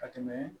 Ka tɛmɛ